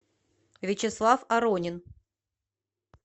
вячеслав аронин